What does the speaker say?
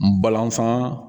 N balasan